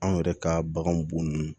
Anw yɛrɛ ka baganw bo nunnu